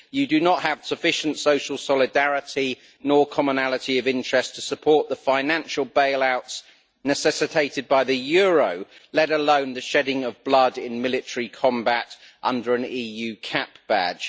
You do not have sufficient social solidarity, nor commonality of interest, to support the financial bailouts necessitated by the euro, let alone the shedding of blood in military combat under an EU cap badge.